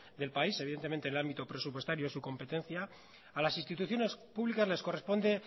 del país evidentemente en el ámbito presupuestario es su competencia a las instituciones públicas les corresponde